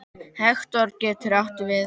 Hektor getur átt við